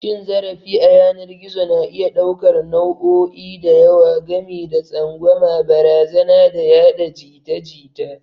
Cin zarafi a yanar gizo na iya ɗaukar nau'o'i da yawa, gami da tsangwama, barazana, da yada jita-jita